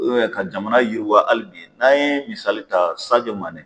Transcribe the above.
ubiyɛn ka jamana yiriwa ali bi n'an ye misali ta sajo mane